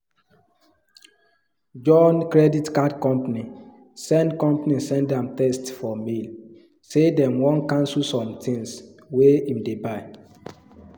john credit card company send company send am text for mail say dem wan cancel some things wey him dey buy